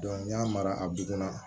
n'i y'a mara a bugun na